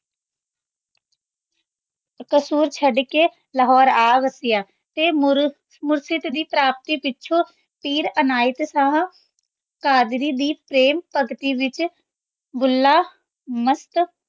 ਕਸੂਰ ਚੜ ਕੇ ਲਾਹੋਰੇ ਆ ਵਸਿਆ ਤੇ ਮੁਰ੍ਹਿਦ ਦੀ ਪ੍ਰਾਪਤੀ ਪਿਛੋਂ ਪੀਰ ਅਨਾਯਤ ਸ਼ਾਹ ਕਾਦਰੀ ਦੀ ਪ੍ਰੇਮ ਭਗਤੀ ਵਿਚ ਭੁੱਲਾ ਮਾਸਟ